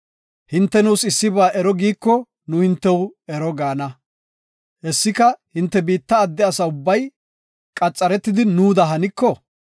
Hinte nuus issiba ero giiko nu hintew ero gaana. Hessika, hinte biitta adde asa ubbay qaxaretidi nuuda haniko,